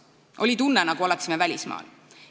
Oli tunne, nagu oleksime välismaal.